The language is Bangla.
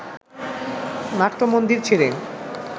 নাট্যমন্দির ছেড়ে